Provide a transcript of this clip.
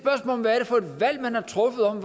valg man har truffet om